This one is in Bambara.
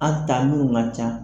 An ta munnu ka ca